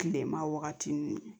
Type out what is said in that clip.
Kilema wagati nun